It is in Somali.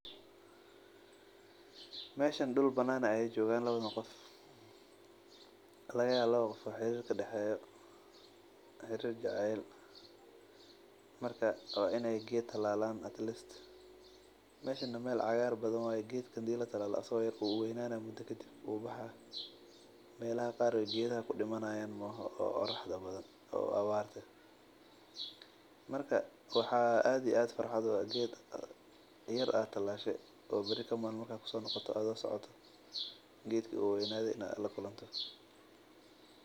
Meeshan dul banaan ayeey joogan labadan qof laba qof oo xariir jecel ka daxeeyo waa inaay geed abuuran waqti yar kadib wuu baxaa waxaa farxad ah geed aad talaashe oo weynade inaad aragto.